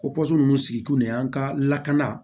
Ko ninnu sigi kun de y'an ka lakana